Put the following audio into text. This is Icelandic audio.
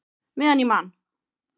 Meðan ég man!